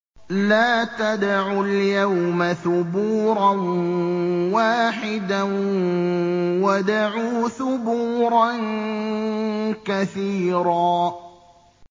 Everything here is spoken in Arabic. لَّا تَدْعُوا الْيَوْمَ ثُبُورًا وَاحِدًا وَادْعُوا ثُبُورًا كَثِيرًا